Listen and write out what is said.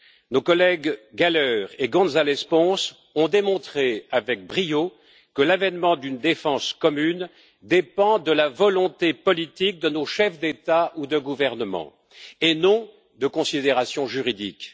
Nos collègues Gahler et Gonzáles Pons ont démontré avec brio que l'avènement d'une défense commune dépend de la volonté politique de nos chefs d'État ou de gouvernement, et non de considérations juridiques.